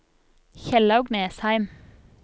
Kjellaug Nesheim